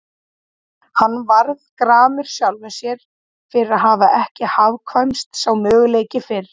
Hann varð gramur sjálfum sér fyrir að hafa ekki hugkvæmst sá möguleiki fyrr.